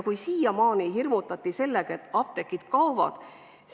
Siiamaani hirmutati sellega, et apteegid kaovad.